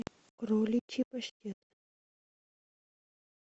кроличий паштет